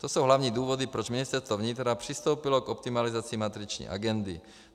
To jsou hlavní důvody, proč Ministerstvo vnitra přistoupilo k optimalizaci matriční agendy.